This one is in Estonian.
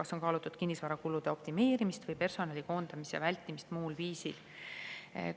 Kas on kaalutud kinnisvarakulude optimeerimist või personali koondamise vältimist muul viisil?